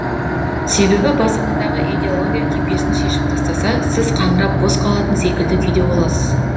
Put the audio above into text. себебі басыңыздағы идеология кепешін шешіп тастаса сіз қаңырап бос қалатын секілді күйде боласыз